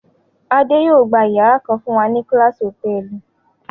Adé yóò gba ìyàrá kan fún wa ní Class Hòtẹ́ẹ́lì.